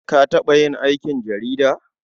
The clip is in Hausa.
Ka taɓa yin aikin jarida?